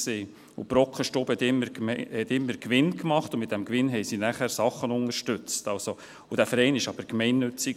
Die Brockenstube hat immer Gewinn gemacht, und mit diesem Gewinn haben sie dann immer Sachen unterstützt, und dieser Verein war gemeinnützig.